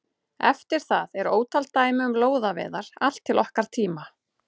Eftir það eru ótal dæmi um lóðaveiðar allt til okkar tíma.